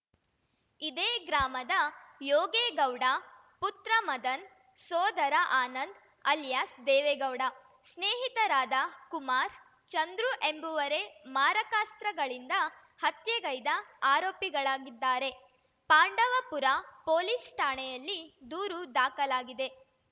ಇದೇ ಗ್ರಾಮದ ಯೋಗೇಗೌಡ ಪುತ್ರ ಮದನ್‌ ಸೋದರ ಆನಂದ್‌ ಆಲಿಯಾಸ್‌ ದೇವೇಗೌಡ ಸ್ನೇಹಿತರಾದ ಕುಮಾರ್‌ ಚಂದ್ರು ಎಂಬುವರೆ ಮಾರಕಾಸ್ತ್ರಗಳಿಂದ ಹತ್ಯೆಗೈದ ಆರೋಪಿಗಳಾಗಿದ್ದಾರೆ ಪಾಂಡವಪುರ ಪೊಲೀಸ್‌ ಠಾಣೆಯಲ್ಲಿ ದೂರು ದಾಖಲಾಗಿದೆ